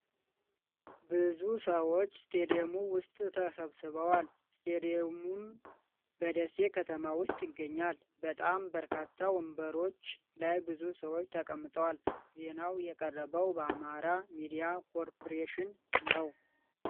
ብዙ ሰዎች ስቱዲዮ ውስጥ ተሰብስበዋል ። ስቱዲዮውም በደሴ ከተማ ውስጥ ይገኛል ። በጣም በርካታ ወንበሮች ላይ ብዙ ሰዎች ተቀምጠዋል ። ዜናው የቀረበው በአማራ ሚዲያ ኮርፖሬሽን ነው።